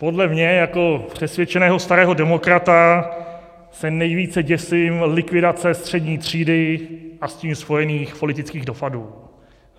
Podle mě jako přesvědčeného starého demokrata se nejvíce děsím likvidace střední třídy a s tím spojených politických dopadů.